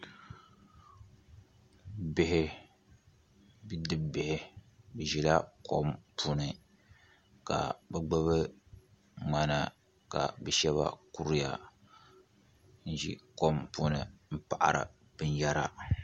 Bihi bidibi bihi bi zila kom puuni ka bi gbubi mŋana ka bi shɛba kuriya n zi kom puuni n paɣari bini yara.